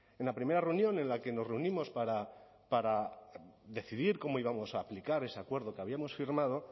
en la primera reunión en la que nos reunimos para decidir cómo íbamos a aplicar ese acuerdo que habíamos firmado